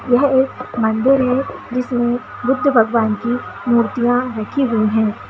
यह एक मंदिर है जिसमे बुद्ध भगवान की मूर्तिया रखी हुई है।